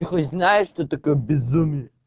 ты хоть знаешь что такое безумие